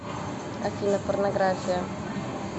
афина порнография